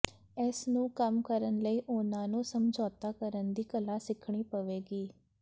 ਇਸ ਨੂੰ ਕੰਮ ਕਰਨ ਲਈ ਉਹਨਾਂ ਨੂੰ ਸਮਝੌਤਾ ਕਰਨ ਦੀ ਕਲਾ ਸਿੱਖਣੀ ਪਵੇਗੀ